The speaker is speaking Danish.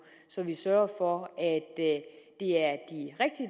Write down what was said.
så vi sørger for at det